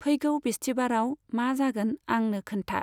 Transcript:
फैगौ बिस्थिबाराव मा जागोन आंनो खोन्था।